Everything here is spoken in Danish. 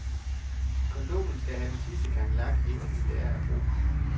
Gondolen have den sidste gang lak, inden vi skal lære at ro den.